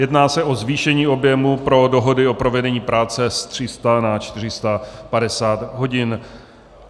Jedná se o zvýšení objemu pro dohody o provedení práce z 300 na 450 hodin.